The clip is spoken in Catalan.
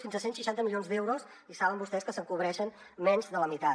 fins a cent i seixanta milions d’euros i saben vostès que se’n cobreixen menys de la meitat